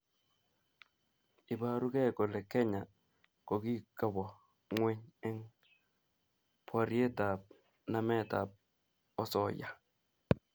Iborukei kole Kenya kokikowo ngweny eng borietap nametab osoya